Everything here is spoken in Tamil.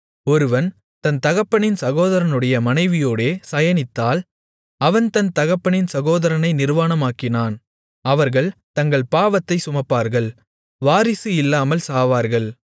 ஒருவன் தன் தகப்பனின் சகோதரனுடைய மனைவியோடே சயனித்தால் அவன் தன் தகப்பனின் சகோதரனை நிர்வாணமாக்கினான் அவர்கள் தங்கள் பாவத்தைச் சுமப்பார்கள் வாரிசு இல்லாமல் சாவார்கள்